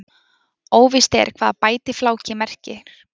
óvíst er hvað bætifláki merkir